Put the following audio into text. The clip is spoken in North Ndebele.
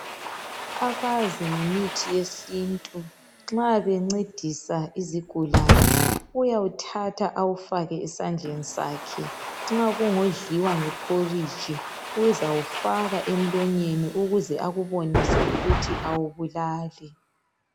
Abazi ngemithi yesintu nxa bencedisa izigulane uyawuthatha awufake esandleni sakhe, nxa kungodliwa ngephoriji uzawufaka emlonyeni ukuze akubonise ukuthi awubulali.